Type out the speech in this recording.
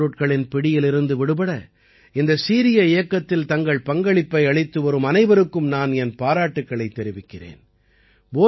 போதைப் பொருட்களின் பிடியிலிருந்து விடுபட இந்த சீரிய இயக்கத்தில் தங்கள் பங்களிப்பை அளித்துவரும் அனைவருக்கும் நான் என் பாராட்டுக்களைத் தெரிவிக்கிறேன்